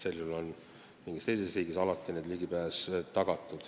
See on osaliselt riskide hajutamine.